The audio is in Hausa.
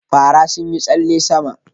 Farawa sun yi tsalle sama